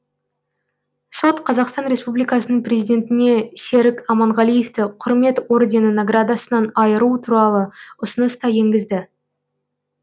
сот қазақстан республикасының президентіне серік аманғалиевті құрмет ордені наградасынан айыру туралы ұсыныс та енгізді